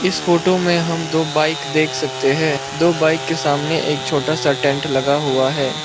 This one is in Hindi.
इस फोटो में हम दो बाइक देख सकते हैं बाइक के सामने छोटा सा टेंट लगा हुआ है।